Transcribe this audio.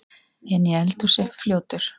Inni í eldhúsi, fljótur.